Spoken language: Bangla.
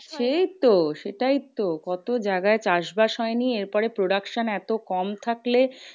সেই তো? সেটাই তো কত জায়গা চাষ বাস হয় নি। এরপরে production এত কম থাকলে